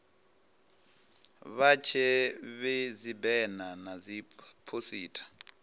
vha vhee dzibena na dziphosita